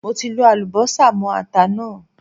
Mo ti lọ Àlùbọ́sà mó ata náà.